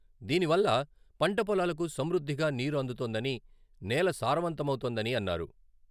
దీని వల్ల పంట పొలాలకు సమృద్ధిగా నీరు అందుతోందని, నేల సారవంతమవుతోందని అన్నారు.